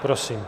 Prosím.